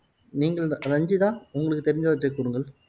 நீங்கள் ரஞ்சிதா உங்களுக்கு தெரிஞ்சவற்றை கூறுங்கள்